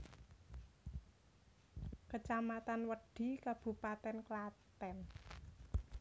Kecamatan Wedhi Kabupaten Klaten